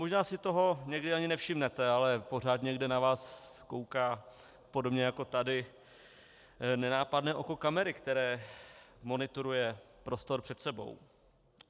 Možná si toho někdy ani nevšimnete, ale pořád někde na vás kouká podobně jako tady nenápadné oko kamery, které monitoruje prostor před sebou.